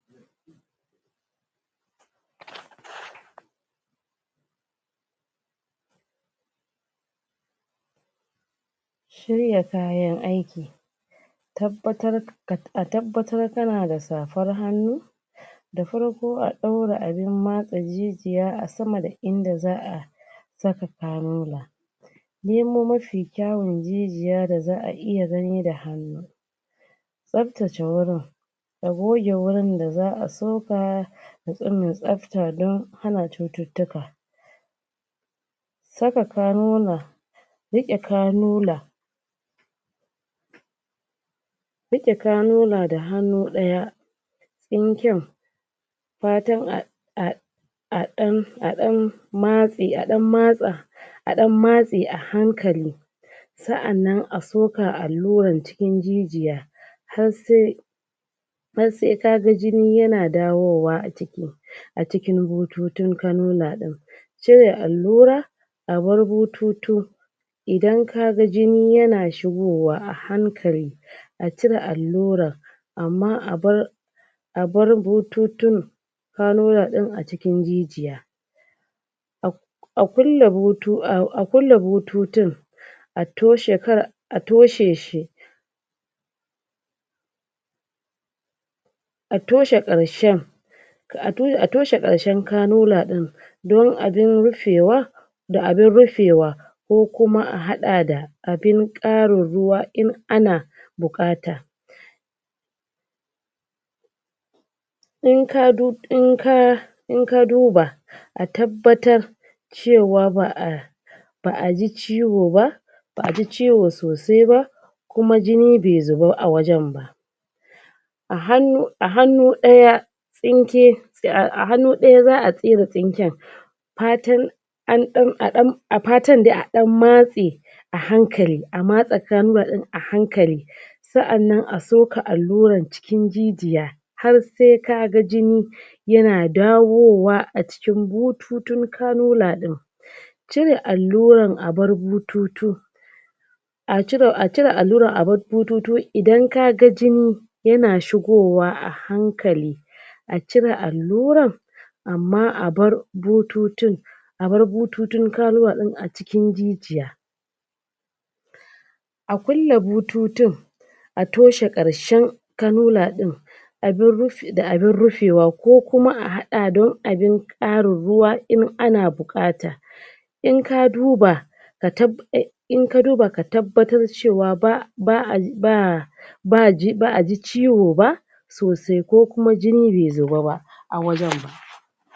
Sharaɗin yin aiki. tabbatar a tabbatar da Da farko a ɗaura abun matsa matsa zuciya a saman in da za a saka kalula nemo mafi kyawun jijiya da za a iya gani da hannu tsabtace wurin a goge wurin da za soka ya zam mai tsabta don hana cututtuka. saka kalula saka kalula saka kalula da hannu ɗaya tsinken a ɗan a ɗan matse, a ɗan matsa a hankali sai a nemi a soka llurar cikin jijiya, har sai har sai ka ga jini yana dawowa a cikin bututun kalulal ɗin cire allura ya bar bututu idan ka ga jini yana shigowa a hankali a cire allura amma abar abar bututun kalula ɗin a cikin jijiya a kulle bututun a toshe kan, a toshe shi. a toshe ƙarshen a toshe ƙarshen kalula ɗin da abun rufewa da abun rufewa ko kuma ahaɗa da abun ƙarin ruwa in ana buƙata in ka, in ka duba a tabbatar cewa ba a ba a ji ciwo ba, ba aji ciwo sosai ba kuma jini bai zuba a wajen ba. a hannu a hannu ɗaya tsinke, a hannu ɗaya za a tsira tsinken fatan a ɗan a fatun dai a ɗan matse a hankali a matse formula ɗin a hankali. sai a zo a soka allurar cikin jijiya har sai ka ga jini yana dawowa a cikin bututun kalula ɗin. cire allurar a bar bututun A cire allura a bar bututun idan ka ga jini yana shigowa a hankali a cire allurar amma a bar bututun a bar bututun kalula ɗin a cikin jijiya a kulle bututun a toshe ƙarshen kalulaɗin da abun rufewa ko kuma a haɗa da abun ƙarin ruwa in ana buƙata. In ka duna ka tab, in ka duba ka tabbatar cewa ba a ba a, ba a ji ciwo ba. sosai ko kuma jini bai zuba a wajen ba.